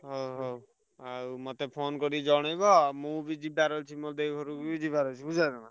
ହଉ ହଉ ମତେ phone କରି ଜଣେଇବ ମୁଁ ବି ଯିବାର ଅଛି ମୋ ଦେଇ ଘରୁକୁ ବି ଯିବାର ଅଛି ବୁଝିପାଇଲ ନା।